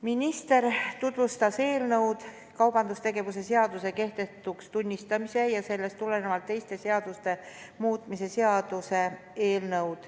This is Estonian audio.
Minister tutvustas kaubandustegevuse seaduse kehtetuks tunnistamise ja sellest tulenevalt teiste seaduste muutmise seaduse eelnõu.